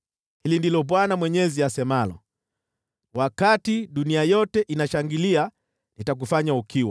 Hili ndilo Bwana Mwenyezi asemalo: Wakati dunia yote inashangilia nitakufanya ukiwa.